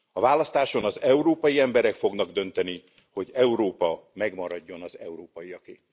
A választáson az európai emberek fognak dönteni, hogy Európa megmaradjon az európaiaké.